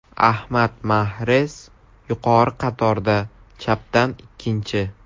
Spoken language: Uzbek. Ahmad Mahrez yuqori qatorda chapdan ikkinchi.